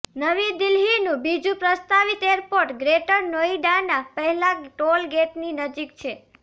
નવી દિલ્હીનું બીજું પ્રસ્તાવિત એરપોર્ટ ગ્રેટર નોઈડાના પહેલાં ટોલ ગેટની નજીક છે